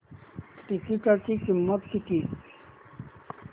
तिकीटाची किंमत किती